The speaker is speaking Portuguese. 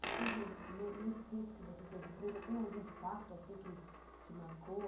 Nesse tempo que você esteve presa, tem algum fato que te marcou?